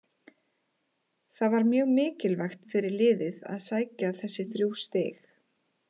Það var mjög mikilvægt fyrir liðið að sækja þessi þrjú stig.